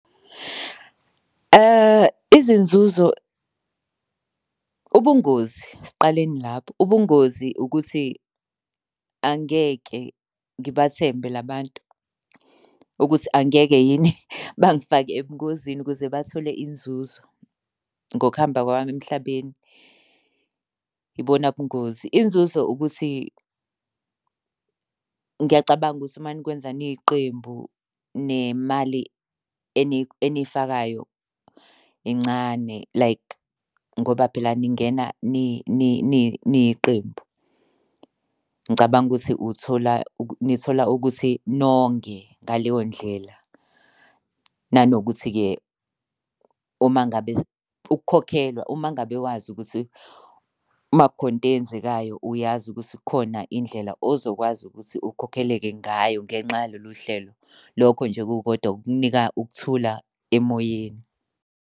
Izinzuzo. Ubungozi, siqaleni lapho, ubungozi ukuthi angeke ngibathembe la bantu ukuthi angeke yini bangifake ebungozini ukuze bathole inzuzo ngokuhamba kwami emhlabeni, yibona bungozi. Inzuzo ukuthi ngiyacabanga ukuthi uma nokwenza niyiqembu nemali eniyifakayo incane like ngoba phela ningena niyiqembu. Ngicabanga ukuthi uthola, nithola ukuthi nonge ngaleyo ndlela. Nanokuthi-ke uma ngabe ukukhokhelwa, uma ngabe wazi ukuthi uma kukhona into eyenzekayo uyazi ukuthi kukhona indlela ozokwazi ukuthi ukhokhele-ke ngayo ngenxa yalolu hlelo. Lokho nje kukodwa kukunika ukuthula emoyeni.